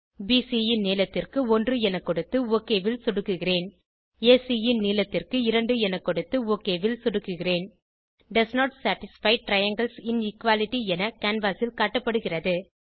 PC ன் நீளத்திற்கு 1 என கொடுத்து ஒக் ல் சொடுக்குகிறேன் ஏசி ன் நீளத்திற்கு 2 என கொடுத்து ஒக் ல் சொடுக்குகிறேன் does not satisfy triangles inequality என கேன்வாஸ் ல் காட்டப்படுகிறது